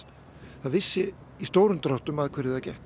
það vissi í stórum dráttum að hverju það gekk